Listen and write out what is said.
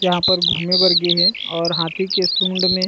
यहाँ पर घूमे बर गे हे और हाथी के सूंड में--